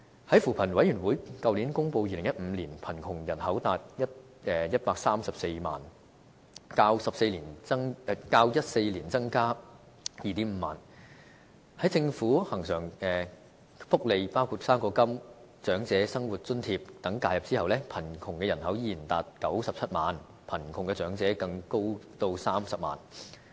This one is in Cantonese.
在扶貧委員會去年公布2015年貧窮人口達134萬，較2014年增加 25,000 人，在政府恆常福利，包括"生果金"、長者生活津貼等介入後，貧窮的人口依然達97萬，貧窮的長者更高達30萬人。